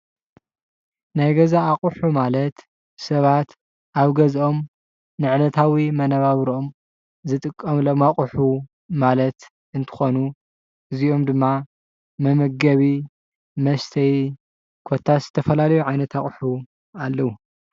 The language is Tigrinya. ናይ ገዛ ኣቅሑ ማለት ሰባት ኣብ ገዝኦም ንዕለታዊ መነባብሮኦም ዝጥቀምሎም ኣቅሑ ማለት እንትኾኑ፣ እዚኦም ድማ መመገቢ፣ መስተይ ኮታስ ዝተፈላለዩ ዓይነት ኣቅሑ ኣለው፡፡